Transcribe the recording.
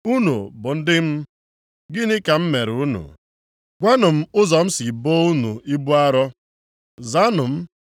“Unu bụ ndị m, gịnị ka m mere unu? Gwanụ m ụzọ m si boo unu ibu arọ? Zaanụ m.